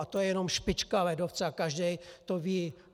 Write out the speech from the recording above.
A to je jenom špička ledovce a každý to ví.